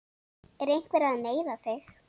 Er einhver að neyða þig?